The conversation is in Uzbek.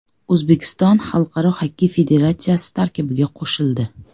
O‘zbekiston Xalqaro xokkey federatsiyasi tarkibiga qo‘shildi.